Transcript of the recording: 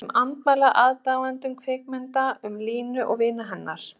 Þessu andmæla aðdáendur kvikmyndanna um Línu og vini hennar.